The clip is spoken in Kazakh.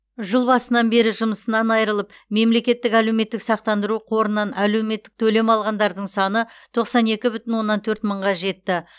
жыл басынан бері жұмысынан айырылып мемлекеттік әлеуметтік сақтандыру қорынан әлеуметтік төлем алғандардың саны тоқсан екі бүтін оннан төрт мыңға жетті